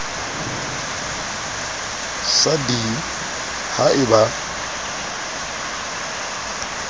sa d ha e ba